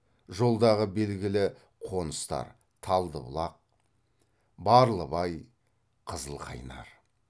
жолдағы белгілі қоныстар талдыбұлақ барлыбай қызылқайнар